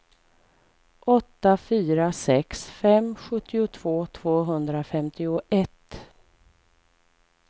åtta fyra sex fem sjuttiotvå tvåhundrafemtioett